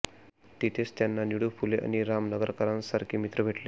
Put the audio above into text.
तिथेच त्यांना निळू फुले आणि राम नगरकरांसारखे मित्र भेटले